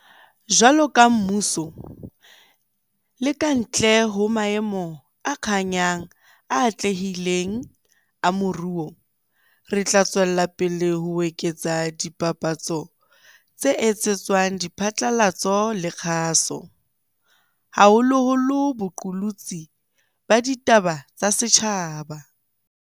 Jwaloka mmuso, le ka ntle ho maemo a kganyang a atlehileng a moruo, re tla tswela pele ho eketsa dipapatso tse etsetswang diphatlalatso le kgaso, haholoholo boqolotsi ba ditaba tsa setjhaba.